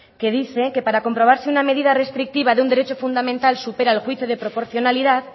que dice que para comprobar si una medida restrictiva de un derecho fundamental supera el juicio de proporcionalidad